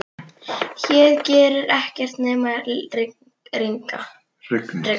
Hér gerir ekkert nema rigna.